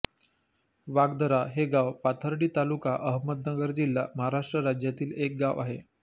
वाघदारा हे गाव पाथर्डी तालुका अहमदनगर जिल्हा महाराष्ट्र राज्यातील एक गाव आहे